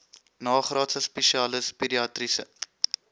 nagraadse spesialis pediatriese